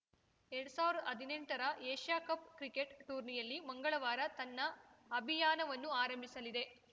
ಎರಡ್ ಸಾವ್ರ ಹದಿನೆಂಟರ ಏಷ್ಯಾ ಕಪ್‌ ಕ್ರಿಕೆಟ್‌ ಟೂರ್ನಿಯಲ್ಲಿ ಮಂಗಳವಾರ ತನ್ನ ಅಭಿಯಾನವನ್ನು ಆರಂಭಿಸಲಿದೆ